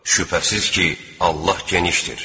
Şübhəsiz ki, Allah genişdir.